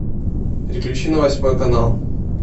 переключи на восьмой канал